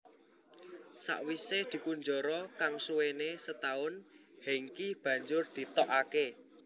Sawisé dikunjara kang suwené setaun Hengky banjur ditokake